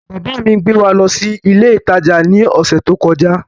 Bàbá mi gbé wa lọ sí ilé ìtajà ní ọ̀sẹ̀ tó kọjá